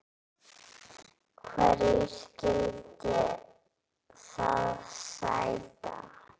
Hverju skyldi það sæta?